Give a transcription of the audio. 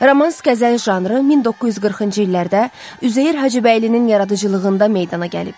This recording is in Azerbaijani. Romans-qəzəl janrı 1940-cı illərdə Üzeyir Hacıbəylinin yaradıcılığında meydana gəlib.